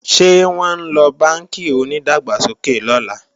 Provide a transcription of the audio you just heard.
Ṣé wọ́n ńlọ bánkì onídàgbàsókè lọ́la?